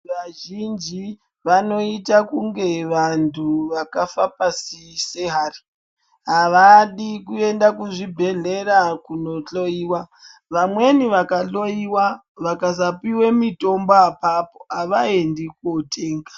Vazhinji vanoita kunge vantu vakafa pasi sehari. Avadi kuenda kuzvibhedhlera kunohloiwa. Vamweni vakahloiwa, vakasapiwe mitombo apapo, avaendi kootenga.